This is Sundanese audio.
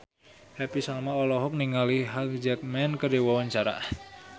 Happy Salma olohok ningali Hugh Jackman keur diwawancara